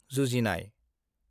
जुजिनाय